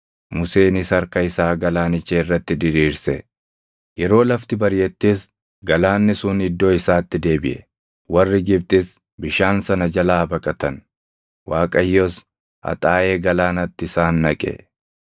Museenis harka isaa galaanicha irratti diriirse; yeroo lafti bariʼettis galaanni sun iddoo isaatti deebiʼe. Warri Gibxis bishaan sana jalaa baqatan; Waaqayyos haxaaʼee galaanatti isaan naqe.